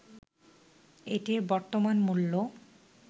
এটির বর্তমান মূল্য